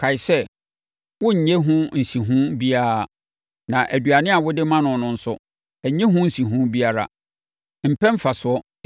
Kae sɛ, worennye ho nsiho biara, na aduane a wode ma no nso, nnye ho nsiho biara. Mpɛ mfasoɔ!